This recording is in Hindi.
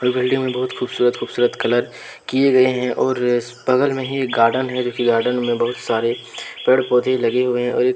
हर बिल्डिंग में बहुत खूबसूरत खूबसूरत कलर किए गए हैं और इस बगल में ही एक गार्डन है जोकि गार्डन में बहुत सारे पेड़-पौधे लगे हुए हैं और एक --